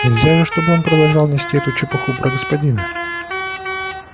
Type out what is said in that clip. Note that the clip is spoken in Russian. нельзя же чтобы он продолжал нести эту чепуху про господина